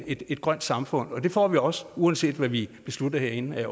et grønt samfund og det får vi jo også uanset hvad vi beslutter herinde